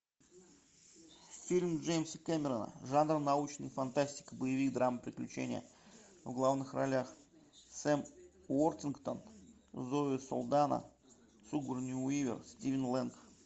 фильм джеймса кэмерона жанр научная фантастика боевик драма приключения в главных ролях сэм уортингтон зои салдана сигурни уивер стивен лэнг